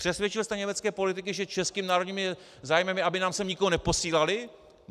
Přesvědčil jste německé politiky, že českým národním zájmem je, aby nám sem nikoho neposílali?